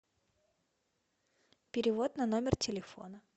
перевод на номер телефона